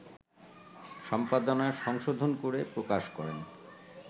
সম্পাদনা/সংশোধন করে প্রকাশ করেন